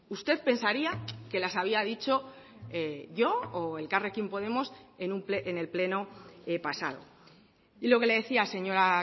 usted pensaría que las había dicho yo o elkarrekin podemos en el pleno pasado y lo que le decía señora